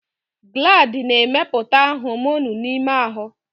Glandi na-emepụta homonụ n'ime ahụ.